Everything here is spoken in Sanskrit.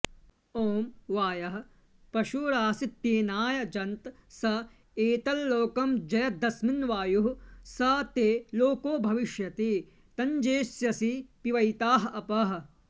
ॐ वायः पशुरासीत्तेनायजन्त स एतल्लोकमजयद्यस्मिन्वायुः स ते लोको भविष्यति तञ्जेष्यसि पिबैता अपः